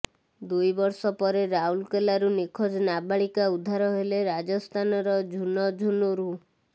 ଦୁଇ ବର୍ଷ ପରେ ରାଉରକେଲାରୁ ନିଖୋଜ ନାବାଳିକା ଉଦ୍ଧାର ହେଲେ ରାଜସ୍ଥାନର ଝୁନଝୁନୁରୁ